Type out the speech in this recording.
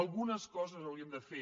algunes coses hauríem de fer